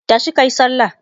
tashi kayi sallah!